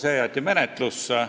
See jäeti menetlusse.